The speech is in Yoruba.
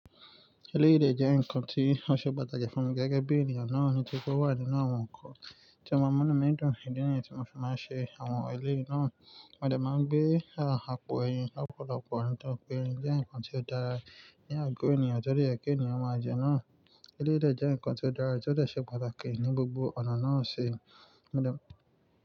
Eléyìí jẹ́ nǹkan tí ó ṣe pàtàkì fún mi gẹ́gẹ́ bí ènìyàn náà ni tí kó wà nínú àwọn nǹkan tí o maa mu nu mi dùn ìdí nìyẹn tí mo fi máa ń ṣe àwọn eléyìí náà. Wọ́n dẹ̀ máa ń gbé àpò ẹyin lọ́pọ̀lọpọ̀. Òótọ́ pé ẹyin jẹ́ nǹkan tí ó dára ní àgọ́ ènìyàn tọrí èké ènìyàn máa jẹ náà. Eléyìí jẹ́ nǹkan tí ó dára, tí ó sì ṣe pàtàkì ní gbogbo ọ̀nà náà ṣe.